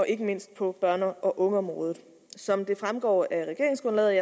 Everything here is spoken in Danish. ikke mindst børne og ungeområdet som det fremgår af regeringsgrundlaget